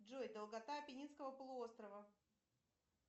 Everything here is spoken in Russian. джой долгота аппенинского полуострова